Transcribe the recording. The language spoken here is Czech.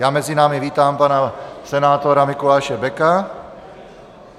Já mezi námi vítám pana senátora Mikuláše Beka.